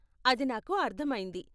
అది నాకు అర్ధమైంది.